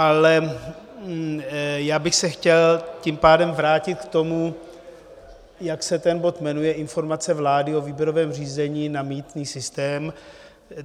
Ale já bych se chtěl tím pádem vrátit k tomu, jak se ten bod jmenuje - Informace vlády o výběrovém řízení na mýtný systém.